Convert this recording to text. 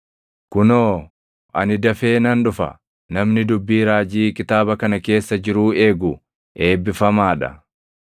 “Kunoo, ani dafee nan dhufa! Namni dubbii raajii kitaaba kana keessa jiruu eegu eebbifamaa dha.”